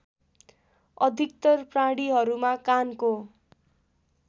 अधिकतर प्राणीहरूमा कानको